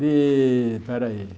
De... peraí.